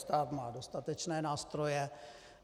Stát má dostatečné nástroje.